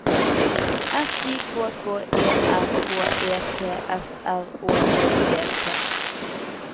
S I K K E R H E T S R Å D E T